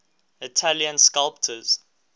italian sculptors